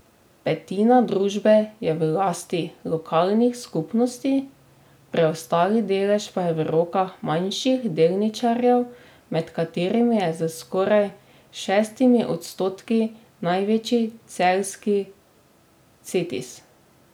Petina družbe je v lasti lokalnih skupnosti, preostali delež pa je v rokah manjših delničarjev, med katerimi je s skoraj šestimi odstotki največji celjski Cetis.